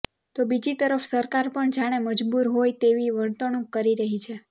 તો બીજી તરફ સરકાર પણ જાણે મજબુર હોય તેવી વર્તણુંક કરી રહી છે